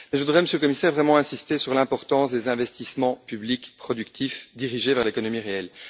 Je voudrais, Monsieur le Commissaire, vraiment insister sur l'importance des investissements publics, productifs, dirigés vers l'économie réelle.